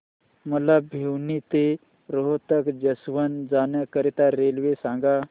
मला भिवानी ते रोहतक जंक्शन जाण्या करीता रेल्वे सांगा